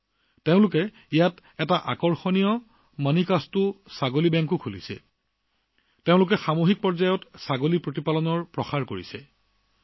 জয়ন্তী জী আৰু বীৰেণ জীয়েও ইয়াত এটা আচৰিত মণিকাস্তু ছাগলী বেংক খুলিছে তেওঁলোকে সমুদায় পৰ্যায়ত ছাগলী পালনক প্ৰসাৰিত কৰিছে